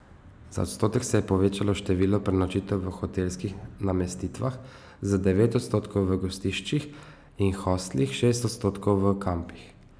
Za odstotek se je povečalo število prenočitev v hotelskih namestitvah, za devet odstotkov v gostiščih in hostlih, šest odstotkov v kampih.